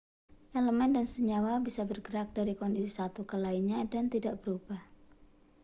elemen dan senyawa bisa bergerak dari kondisi satu ke lainnya dan tidak berubah